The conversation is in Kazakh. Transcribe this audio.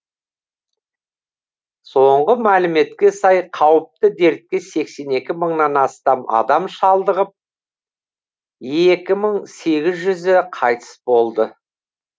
соңғы мәліметке сай қауіпті дертке сексен екі мыңнан астам адам шалдығып екі мың сегіз жүзі қайтыс болды